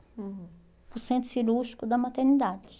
Hum. Para o centro cirúrgico da maternidade.